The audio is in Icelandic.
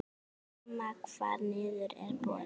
Sama hvar niður er borið.